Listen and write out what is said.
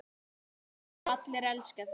GRÍMUR: Og allir elska þig.